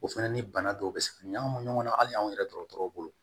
O fɛnɛ ni bana dɔw bɛ se ka ɲagami ɲɔgɔn na hali anw yɛrɛ dɔgɔtɔrɔw bolo